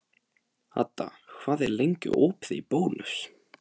Hadda, hvað er lengi opið í Bónus?